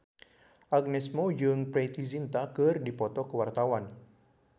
Agnes Mo jeung Preity Zinta keur dipoto ku wartawan